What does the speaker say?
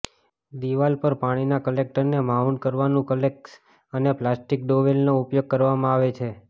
દિવાલ પર પાણીના કલેક્ટરને માઉન્ટ કરવાનું ક્લેક્શ અને પ્લાસ્ટિક ડોવેલનો ઉપયોગ કરવામાં આવે છે